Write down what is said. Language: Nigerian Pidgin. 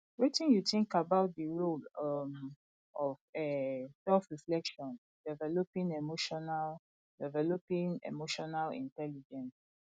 wetin you think about di role um of um selfreflection in developing emotional developing emotional intelligence